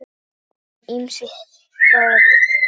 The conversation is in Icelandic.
Ólafur vann ýmis störf.